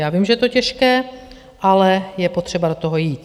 Já vím, že je to těžké, ale je potřeba do toho jít.